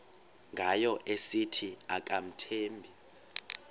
ngayo esithi akamthembi